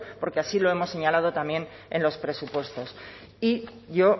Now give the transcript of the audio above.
porque así lo hemos señalado también en los presupuestos y yo